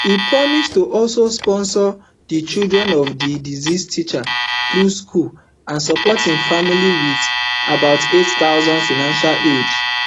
e promise to also sponsor di children of di deceased teacher through school and support im family wit about eight thousand financial aid